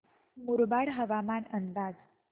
मुरबाड हवामान अंदाज